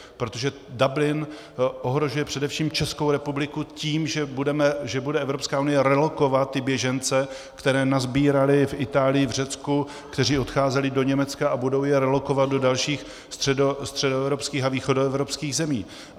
Protože Dublin ohrožuje především Českou republiku tím, že bude Evropská unie relokovat ty běžence, které nasbírali v Itálii, v Řecku, kteří odcházeli do Německa, a budou je relokovat do dalších středoevropských a východoevropských zemí.